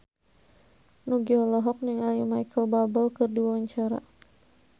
Nugie olohok ningali Micheal Bubble keur diwawancara